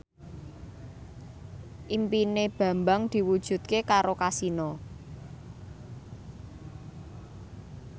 impine Bambang diwujudke karo Kasino